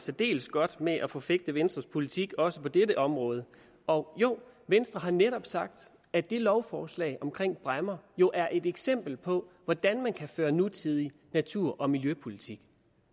særdeles godt med at forfægte venstres politik også på dette område og jo venstre har netop sagt at lovforslaget om bræmmer jo er et eksempel på hvordan man kan føre nutidig natur og miljøpolitik